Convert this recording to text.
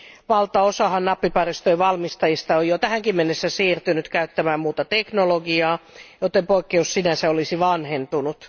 Valtaosahan nappiparistojen valmistajista on jo tähänkin mennessä siirtynyt käyttämään muuta teknologiaa, joten poikkeus sinänsä olisi vanhentunut.